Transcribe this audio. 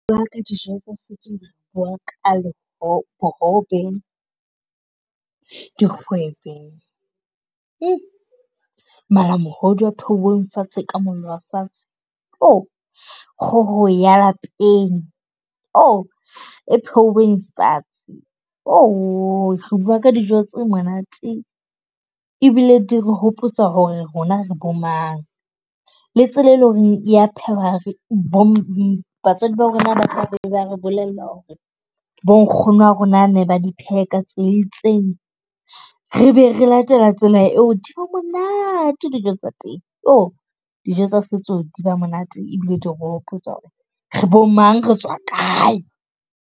Re bua ka dijo re bua ka la , bohobe, dikgwebe, malamohodu a phehilweng fatshe ka mollo wa fatshe, kgoho ya lapeng. Jo, e phehilweng fatshe. Re bua ka dijo tse monate ebile di re hopotsa hore rona re bomang le tsela e leng hore ya phehwa Batswadi ba rona ba tlabe ba re bolella hore bonkgono ba rona ba ne ba di pheha ka tsela e itseng, re be re latela tsela eo di ba monate dijo tsa teng. Oh, dijo tsa setso, di ba monate, ebile di re hopotsa hore re bomang, re tswa kae.